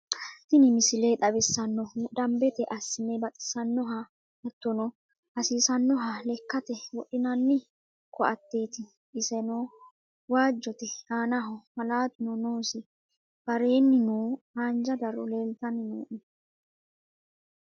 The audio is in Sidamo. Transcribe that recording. Tiini miisile xawisannohu daanbette asse baaxisanohaa haatono haasisanoha leekate wodhnanni koateti esseno waajote aanaho maalatuno noosii baareninno haanjaa daaro noota lelshanno.